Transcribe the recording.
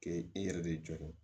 K'e yɛrɛ de jɔlen